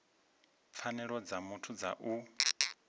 pfanelo dza muthu dza u